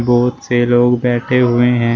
बहोत से लोग बैठे हुए हैं।